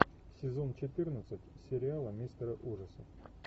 сезон четырнадцать сериала мистера ужасов